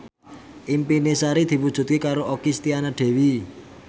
impine Sari diwujudke karo Okky Setiana Dewi